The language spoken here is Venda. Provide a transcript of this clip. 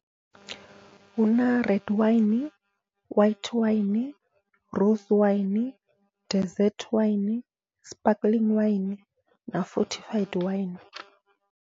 Huna red waini, na white waini, rose waini, desert waini, sparkling waini na fothi five waini.